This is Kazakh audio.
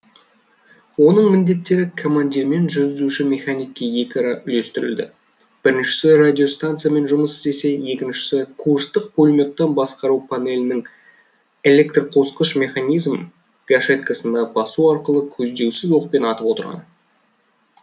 оның міндеттері командирмен жүргізуші механикке екіара үлестірілді біріншісі радиостанциямен жұмыс істесе екіншісі курстық пулеметтан басқару панелінен электрқосқыш механизм гашеткасына басу арқылы көздеусіз оқпен атып отырған